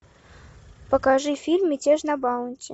покажи фильм мятеж на баунти